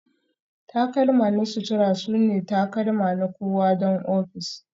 takalma na sutura sune takalma na kowa don ofis